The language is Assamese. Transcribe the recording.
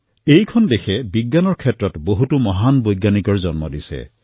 এই দেশে বিজ্ঞান ক্ষেত্ৰত বহুতো মহান বৈজ্ঞানিকক জন্ম দিছে